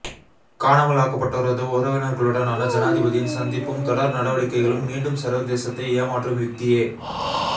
காணாமல் ஆக்கப்பட்டோரது உறவினர்களுடனான ஜனாதிபதியின் சந்திப்பும் தொடர் நடவடிக்கைகளும் மீண்டும் சர்வதேசத்தை ஏமாற்றும் யுக்தியே